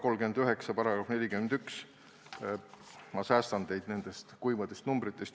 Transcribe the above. Olgu, ma säästan teid nendest kuivadest numbritest.